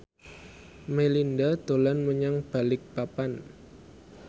Melinda dolan menyang Balikpapan